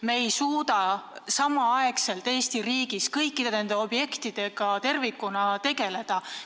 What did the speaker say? Me ei suuda Eesti riigis kõikide nende objektidega samal ajal tegeleda.